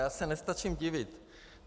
Já se nestačím divit.